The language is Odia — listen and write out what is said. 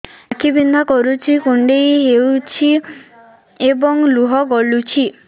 ଆଖି ବିନ୍ଧା କରୁଛି କୁଣ୍ଡେଇ ହେଉଛି ଏବଂ ଲୁହ ଗଳୁଛି